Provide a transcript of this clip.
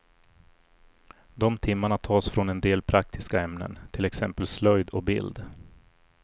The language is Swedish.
De timmarna tas från en del praktiska ämnen, till exempel slöjd och bild.